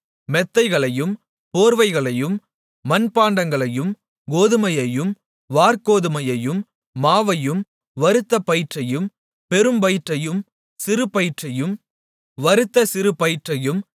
மெத்தைகளையும் போர்வைகளையும் மண்பாண்டங்களையும் கோதுமையையும் வாற்கோதுமையையும் மாவையும் வறுத்த பயிற்றையும் பெரும் பயிற்றையும் சிறு பயிற்றையும் வறுத்த சிறு பயிற்றையும்